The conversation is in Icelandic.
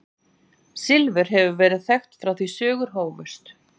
Silfur hefur verið þekkt frá því sögur hófust.